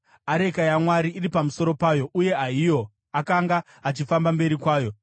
areka yaMwari iri pamusoro payo, uye Ahio akanga achifamba mberi kwayo.